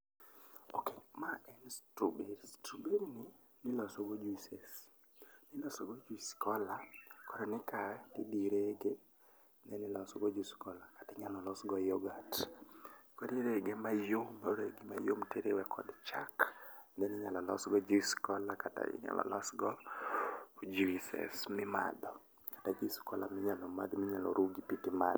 ok. Ma en strawberry. Strawberry ni iloso go juices. iloso go juice cola koro ni ka ti dhi rege then iloso go juice cola kata inyalo los go yoghurt. Koro irege mayom, irege mayom ti riwe kod chak then inyalo los go juice cola kata inyalo los go juices mi madho kata juice cola minyalo madh minyalo ru gi pii ti madho